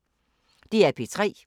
DR P3